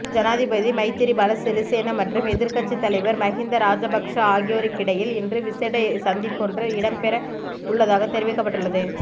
ஜனாதிபதி மைத்திரிபால சிறிசேன மற்றும் எதிர்க்கட்சித் தலைவர் மகிந்த ராஜபக்ஸ ஆகியோருக்கிடையில் இன்று விசேட சந்திப்பொன்று இடம்பெற உள்ளதாக தெரிவிக்கப்பட்டள்ளது